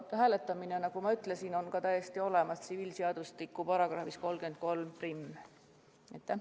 Hääletamine, nagu ma ütlesin, on sätestatud tsiviilseadustiku üldosa seaduse paragrahvis 331.